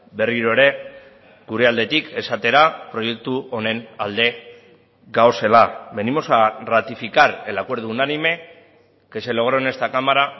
berriro ere gure aldetik esatera proiektu honen alde gaudela venimos a ratificar el acuerdo unánime que se logró en esta cámara